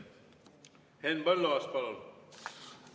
Henn Põlluaas, palun!